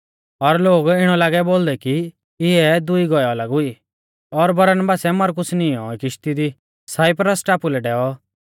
और लोग इणौ लागै बोलदै कि इऐ दुई गौऐ अलग हुई और बरनबासै मरकुस नींई औ किश्ती दी साइप्रस टापु लै डैऔ